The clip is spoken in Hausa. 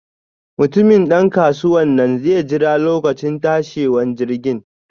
Mutumin dan kasuwanan zai jera lokacin tashiwan jirgin.